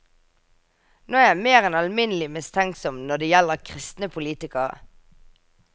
Nå er jeg mer enn alminnelig mistenksom når det gjelder kristne politikere.